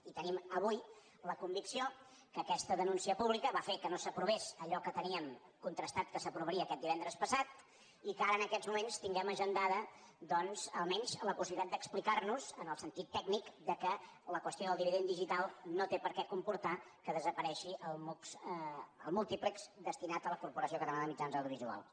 i tenim avui la convicció que aquesta denúncia pública va fer que no s’aprovés allò que teníem contrastat que s’aprovaria aquest divendres passat i que ara en aquests moments tinguem agendada doncs almenys la possibilitat d’explicar nos en el sentit tècnic que la qüestió del dividend digital no té per què comportar que desaparegui el mux el múltiplex destinat a la corporació catalana de mitjans audiovisuals